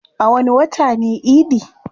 A wani wata ne idi?